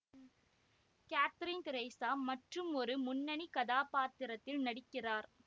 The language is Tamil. காத்ரீன் திரீசா மற்றுமொரு முன்னணி கதாபத்திரத்தில் நடிக்கிறார்